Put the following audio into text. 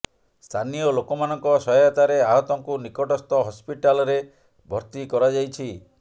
ସ୍ଥାନୀୟ ଲୋକମାନଙ୍କ ସହାୟତାରେ ଆହତଙ୍କୁ ନିକଟସ୍ଥ ହସ୍ପିଟାଲରେ ଭର୍ତି କରାଯାଇଛି